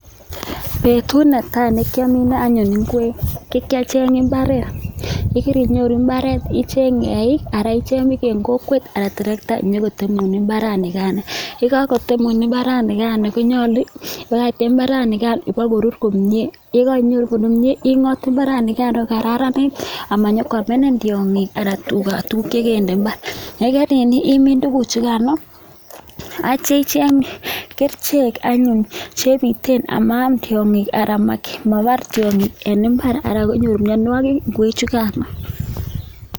Betut ne tai ne kiomine anyun ngwek, ko ki acheng mbaret. Ye keinyoro mbaret, iicheng eik anan icheng bik en kokwet anan terekta inyokotemun mbaraigano. Ye kagotemun mbaranikano konyolu, ibakakte mbaranikan ibokorur komye. Ye kagorur komye ing'ot mbaranikan ibakokararanit ama nyo koamenin tiong'ik anan tuga tuguk che kende mbar, ye keing'ot imin tuguchugano ak kityo icheng kerichek anyun chebiten ama am tiong'ik anan mabar tiong'ik en mbar anan konyor mianwogik ngwechugan.